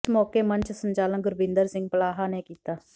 ਇਸ ਮੌਕੇ ਮੰਚ ਸੰਚਾਲਨ ਗੁਰਬਿੰਦਰ ਸਿੰਘ ਪਲਾਹਾ ਨੇ ਕੀਤਾ